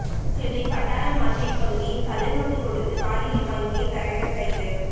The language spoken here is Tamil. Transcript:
சென்னை பட்டாளம் மார்க்கெட் பகுதியில் கள்ளநோட்டு கொடுத்து காய்கறி வாங்கிய தரகர் கைது